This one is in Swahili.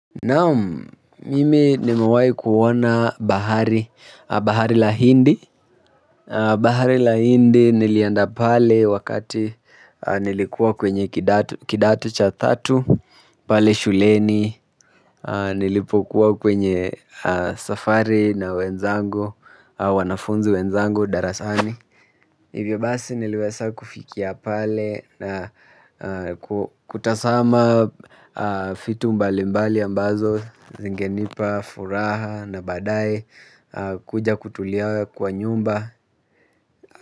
Naam, mimi nimewahi kuona bahari, Bahari la hindi Bahari la hindi nilienda pale wakati nilikuwa kwenye kidato cha tatu pale shuleni. Nilipokuwa kwenye safari na wenzangu, wanafunzi wenzangu, darasani hivyo basi niliweza kufikia pale na kutazama vitu mbali mbali ambazo zingenipa furaha na baadaye kuja kutulia kwa nyumba.